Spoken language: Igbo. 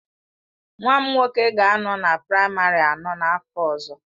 Nwa m nwoke ga-anọ na praịmarị anọ n'afọ ọzọ.